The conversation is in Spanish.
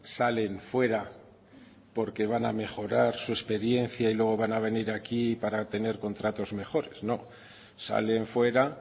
salen fuera porque van a mejorar su experiencia y luego van a venir aquí para tener contratos mejores no salen fuera